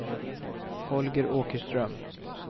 Holger Åkerström